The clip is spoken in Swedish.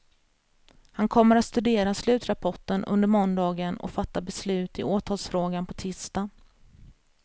Han kommer att studera slutrapporten under måndagen och fatta beslut i åtalsfrågan på tisdag.